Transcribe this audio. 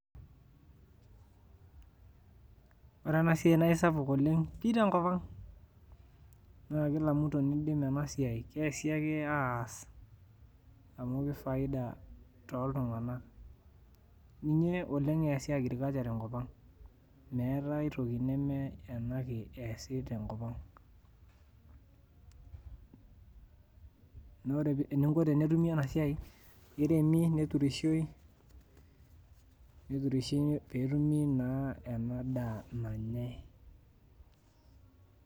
Ore enasiai naisapuk oleng pi tenkop ang, na kila mtu nidim enasiai. Keesi ake aas amu kifaida toltung'anak. Ninye oleng eesi agriculture tenkop ang. Meetai aitoki neme ena ake eesi tenkop ang. Nore eninko tenetumi enasiai, kiremi neturishoi, neturishoi petumi naa enadaa nanyai.